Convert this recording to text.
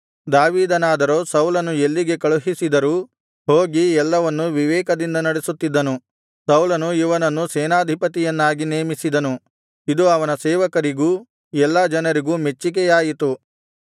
ದಾವೀದನಾದರೋ ಸೌಲನು ಎಲ್ಲಿಗೆ ಕಳುಹಿಸಿದರೂ ಹೋಗಿ ಎಲ್ಲವನ್ನು ವಿವೇಕದಿಂದ ನಡೆಸುತ್ತಿದ್ದನು ಸೌಲನು ಇವನನ್ನು ಸೇನಾಧಿಪತಿಯನ್ನಾಗಿ ನೇಮಿಸಿದನು ಇದು ಅವನ ಸೇವಕರಿಗೂ ಎಲ್ಲಾ ಜನರಿಗೂ ಮೆಚ್ಚಿಗೆಯಾಯಿತು